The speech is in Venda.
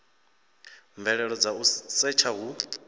mvelelo dza u setsha hu